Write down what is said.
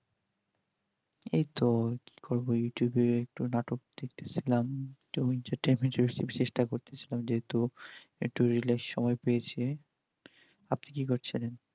এইতো কি করবো youtube এ একটু নাটক দেখতে ছিলাম চেষ্টা করতেছি যেহেতু একটু relax সময় পেয়েছি আপনি কি করছেন